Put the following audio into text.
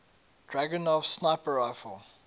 dragunov sniper rifle